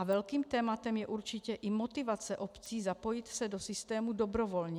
A velkým tématem je určitě i motivace obcí zapojit se do systému dobrovolně.